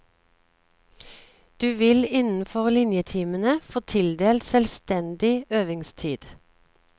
Du vil innenfor linjetimene få tildelt selvstendig øvingstid.